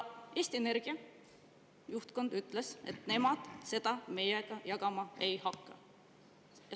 Eesti Energia juhtkond ütles, et nemad seda infot meiega jagama ei hakka.